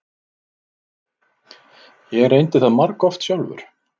Ég reyndi það margoft sjálfur.